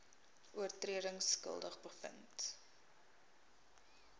oortredings skuldig bevind